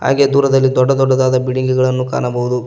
ಹಾಗೆ ದೂರದಲ್ಲಿ ದೊಡ್ಡ ದೊಡ್ಡದಾದ ಬಿಲ್ಡಿಂಗ್ ಗಳನ್ನು ಕಾಣಬಹುದು.